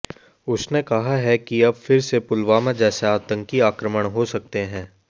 उसने कहा है कि अब फिर से पुलवामा जैसे आतंकी आक्रमण हो सकते हैं